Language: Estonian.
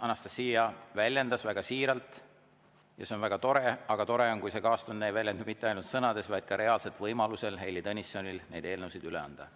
Anastassia siin väljendas väga siiralt – ja see on väga tore –, aga tore on, kui see kaastunne ei väljendu mitte ainult sõnades, vaid ka reaalselt võimaluses Heili Tõnissonil neid eelnõusid üle anda.